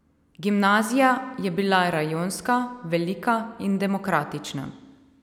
Gimnazija je bila rajonska, velika in demokratična.